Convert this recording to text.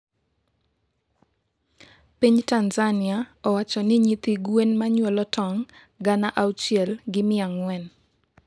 piny Tanzania owacho ni nyithi gwen manyuolo tong' gana auchiel gi mia ang'wen